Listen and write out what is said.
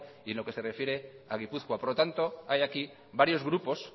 y en lo que se refiere a gipuzkoa por lo tanto hay aquí varios grupos